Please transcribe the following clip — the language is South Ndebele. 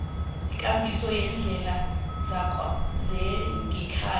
ikambiso yeendlela zangekhaya